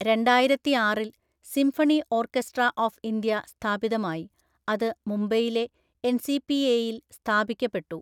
രണ്ടായിരത്തിആറില്‍ symphony orchestra of India സ്ഥാപിതമായി, അത് മുംബൈയിലെ എൻസിപിഎയിൽ സ്ഥാപിക്കപ്പെട്ടു.